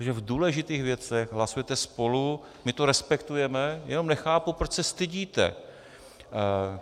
To, že v důležitých věcech hlasujete spolu, my to respektujeme, jenom nechápu, proč se stydíte.